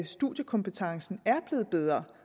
studiekompetencen er blevet bedre